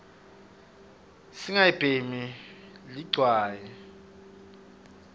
singalibhemi ligwayi